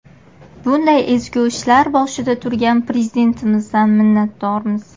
Bunday ezgu ishlar boshida turgan Prezidentimizdan minnatdormiz.